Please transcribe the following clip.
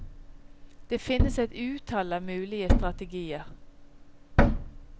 Det finnes et utall av mulige strategier.